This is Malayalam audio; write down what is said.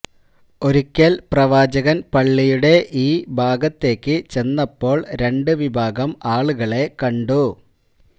ഒരിക്കല് പ്രവാചകന് പള്ളിയുടെ ഈ ഭാഗത്തേക്ക് ചെന്നപ്പോള് രണ്ട് വിഭാഗം ആളുകളെ കണ്ടു